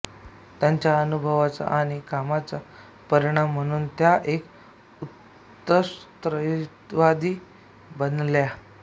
त्यांच्या अनुभवाचा आणि कामाचा परिणाम म्हणून त्या एक उत्कट स्त्रीवादी बनल्या